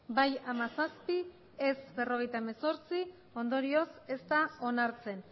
bai hamazazpi ez berrogeita hemezortzi ondorioz ez da onartzen